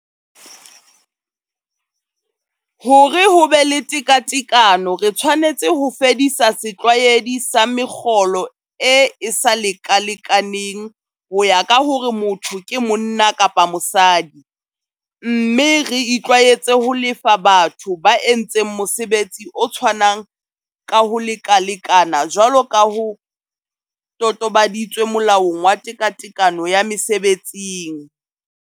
Hore ho be le tekatekano re tshwanetse ho fedisa setlwaedi sa mekgolo e e sa lekalekaneng ho ya ka hore motho ke monna kapa mosadi, mme re itlwaetse ho lefa batho ba entseng mosebetsi o tshwanang ka ho lekalekana jwalo ka ho totobaditswe Molaong wa Tekatekano ya Mese betsing.